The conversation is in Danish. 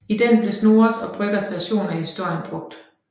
I den blev Snorres og Brøggers version af historien brugt